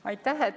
Aitäh!